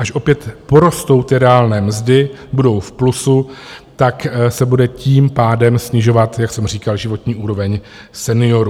Až opět porostou ty reálné mzdy, budou v plusu, tak se bude tím pádem snižovat, jak jsem říkal, životní úroveň seniorů.